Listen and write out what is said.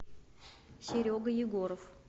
серега егоров